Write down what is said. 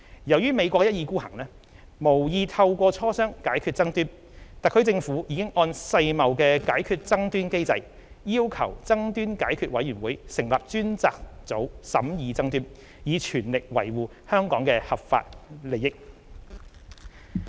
由於美國一意孤行，無意透過磋商解決爭端，特區政府已按世貿解決爭端機制，要求爭端解決委員會成立專家組審議爭端，以全力維護香港的合法利益。